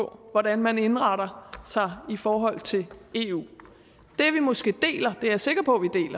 på hvordan man indretter sig i forhold til eu det vi måske deler det er jeg sikker på